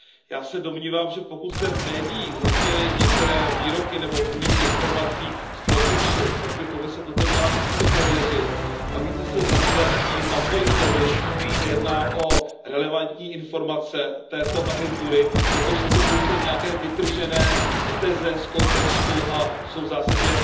Já se domnívám, že pokud zde v médiích zazněly některé výroky nebo úniky informací z Frontexu, pak by Komise toto měla více prověřit a více se zabývat tím, nakolik tedy se jedná o relevantní informace této agentury nebo jsou to pouze nějaké vytržené teze z kontextu a jsou v zásadě